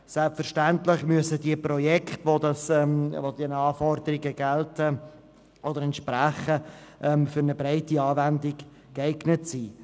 Selbstverständlich müssen die Projekte, die diesen Anforderungen entsprechen, für eine breite Anwendung geeignet sein.